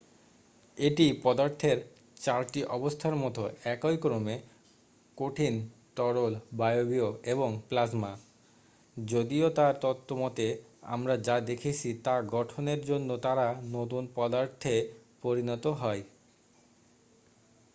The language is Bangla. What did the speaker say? এটি পদার্থের চারটি অবস্থার মতো একই ক্রমে: কঠিন তরল বায়বীয় এবং প্লাজমা যদিও তার তত্ত্ব মতে আমরা যা দেখছি তা গঠনের জন্য তারা নতুন পদার্থে পরিনত হয়।